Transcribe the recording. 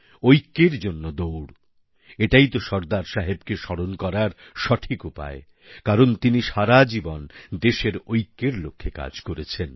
ঐক্যের জন্য দৌড় এটাই তো সর্দার সাহেবকে স্মরণ করার সঠিক উপায় কারণ তিনি সারাজীবন দেশের ঐক্যের লক্ষ্যে কাজ করেছেন